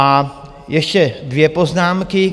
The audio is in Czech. A ještě dvě poznámky.